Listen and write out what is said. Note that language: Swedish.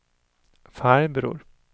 farbror